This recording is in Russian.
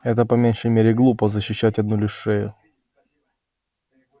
это по меньшей мере глупо защищать одну лишь шею